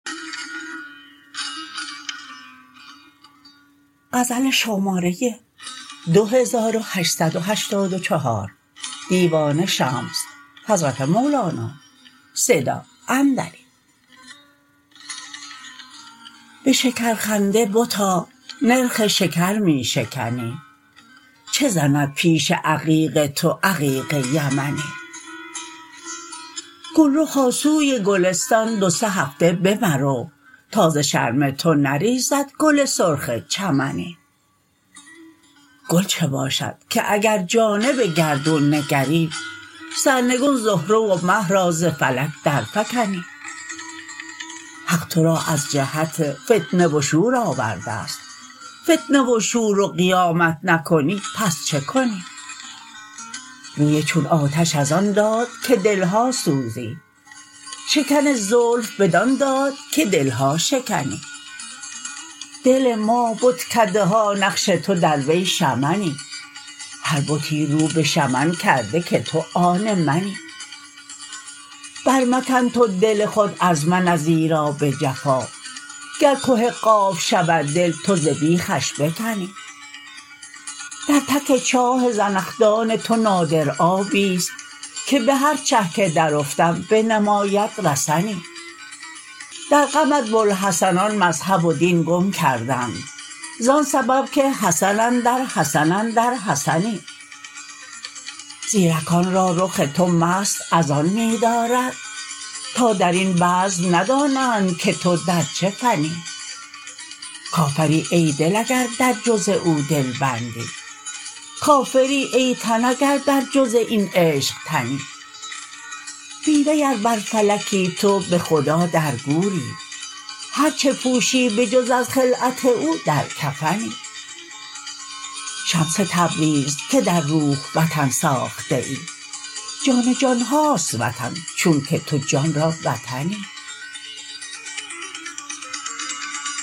به شکرخنده بتا نرخ شکر می شکنی چه زند پیش عقیق تو عقیق یمنی گلرخا سوی گلستان دو سه هفته بمرو تا ز شرم تو نریزد گل سرخ چمنی گل چه باشد که اگر جانب گردون نگری سرنگون زهره و مه را ز فلک درفکنی حق تو را از جهت فتنه و شور آورده ست فتنه و شور و قیامت نکنی پس چه کنی روی چون آتش از آن داد که دل ها سوزی شکن زلف بدان داد که دل ها شکنی دل ما بتکده ها نقش تو در وی شمنی هر بتی رو به شمن کرده که تو آن منی برمکن تو دل خود از من ازیرا به جفا گر که قاف شود دل تو ز بیخش بکنی در تک چاه زنخدان تو نادر آبی است که به هر چه که درافتم بنماید رسنی در غمت بوالحسنان مذهب و دین گم کردند زان سبب که حسن اندر حسن اندر حسنی زیرکان را رخ تو مست از آن می دارد تا در این بزم ندانند که تو در چه فنی کافری ای دل اگر در جز او دل بندی کافری ای تن اگر بر جز این عشق تنی بی وی ار بر فلکی تو به خدا در گوری هر چه پوشی به جز از خلعت او در کفنی شمس تبریز که در روح وطن ساخته ای جان جان هاست وطن چونک تو جان را وطنی